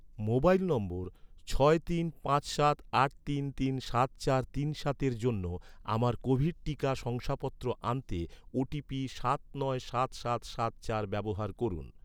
mobile number ছয় তিন পাঁচ সাত আট তিন তিন সাত চার তিন সাতের জন্য, আমার কোভিড টিকা শংসাপত্র আনতে, ওটিপি সাত নয় সাত সাত সাত চার ব্যবহার করুন